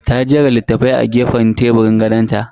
Ta jera littafai a teburin gefen gadon ta.